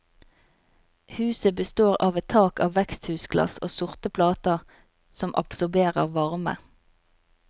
Huset består av et tak av veksthusglass og sorte plater som absorberer varme.